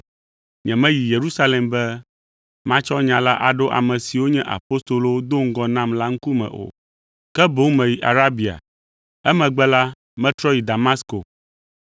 Nyemeyi Yerusalem be matsɔ nya la aɖo ame siwo nye apostolowo do ŋgɔ nam la ŋkume o, ke boŋ meyi Arabia. Emegbe la, metrɔ yi Damasko.